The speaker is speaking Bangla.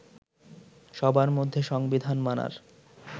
সবার মধ্যে সংবিধান মানার